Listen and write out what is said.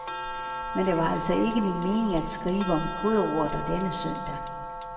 Men det var altså ikke min mening at skrive om krydderurter denne søndag.